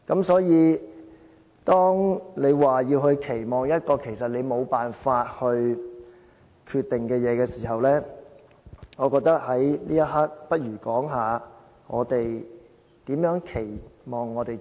所以，當你要說對事情的期望，但其實這件事你沒有辦法決定的時候，我覺得倒不如說一說，我們對自己的期望。